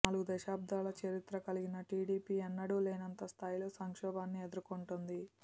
నాలుగు దశాబ్దాల చరిత్ర కలిగిన టీడీపీ ఎన్నడూ లేనంత స్దాయిలో సంక్షోభాన్ని ఎదుర్కొంటోంది